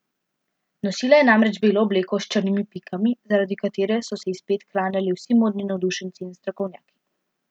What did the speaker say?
Nosila je namreč belo obleko s črnimi pikami, zaradi katere so se ji spet klanjali vsi modni navdušenci in strokovnjaki.